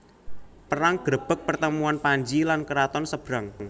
Perang grebeg pertemuan Panji lan keraton Sebrang